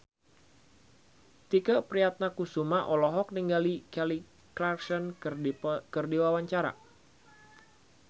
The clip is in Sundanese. Tike Priatnakusuma olohok ningali Kelly Clarkson keur diwawancara